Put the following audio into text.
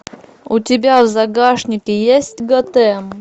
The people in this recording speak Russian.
у тебя в загашнике есть готэм